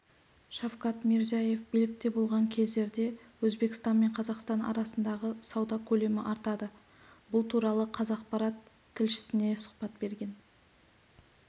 шавкат мирзиеев билікте болған кездерде өзбекстан мен қазақстан арасындағы сауда көлемі артады бұл туралы қазақпарат тілшісіне сұхбат берген